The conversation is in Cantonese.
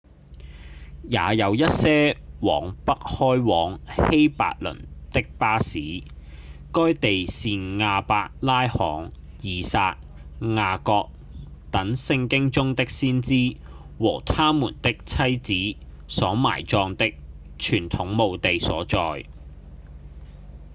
也有一些往北開往希伯崙的巴士該地是亞伯拉罕、以撒、雅各等聖經中的先祖和他們的妻子所埋葬的傳統墓地所在